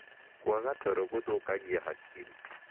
Kwaga toro gũthũkagia hakiri